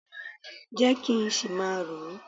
Jẹ́ kí n ṣì máa rò ó